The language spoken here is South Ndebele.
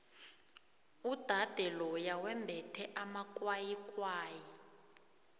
udade loya wembethe amakwayikwayi